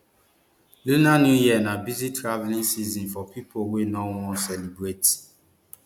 lunar new year na busy travelling season for pipo wey no wan celebrate